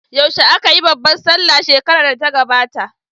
Yaushe aka yi babbar sallah shekarar da ta gabata?